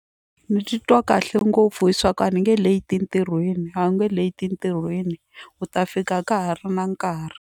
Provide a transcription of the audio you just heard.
Ndzi titwa kahle ngopfu hi swa ku a ni nge leti entirhweni a wu nge leti entirhweni u ta fika ka ha ri na nkarhi.